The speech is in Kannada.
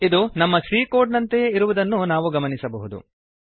ಇದು ನಮ್ಮ ಸಿ ಕೋಡ್ ನಂತೆಯೇ ಇರುವುದನ್ನು ನಾವು ಗಮನಿಸಬಹುದು